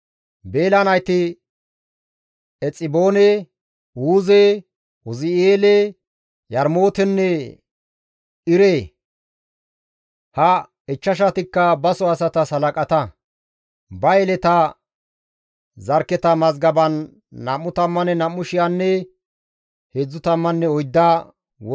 Beela nayti Exiboone, Uuze, Uzi7eele, Yarmootenne Iire; ha ichchashatikka baso asatas halaqata; ba yeleta zarkketa mazgaban 22,034 wolqqamanne mino olanchchati mazgabettida.